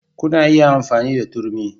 Kuna iya amfani da turmi